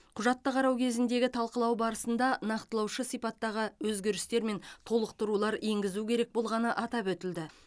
құжатты қарау кезіндегі талқылау барысында нақтылаушы сипаттағы өзгерістер мен толықтырулар енгізу керек болғаны атап өтілді